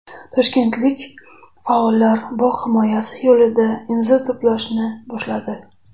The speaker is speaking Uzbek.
Toshkentlik faollar bog‘ himoyasi yo‘lida imzo to‘plashni boshladi .